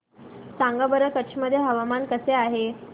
सांगा बरं कच्छ मध्ये हवामान कसे आहे